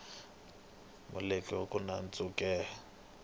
mulweri lo nkulu wa ntshuke